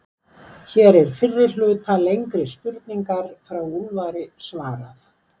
hér er fyrri hluta lengri spurningar frá úlfari svarað